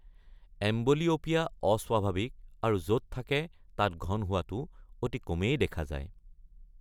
Amblyopia অস্বাভাৱিক আৰু য’ত থাকে তাত ঘন হোৱাটো অতি কমেই দেখা যায়।